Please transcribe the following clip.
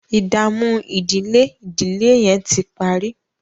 ìdààmú ìdílé ìdílé yén tí parí.